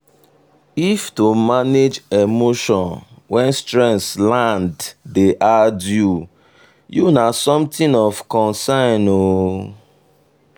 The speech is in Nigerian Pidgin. if to manage emotion when stress land dey hard you you na something of concern o.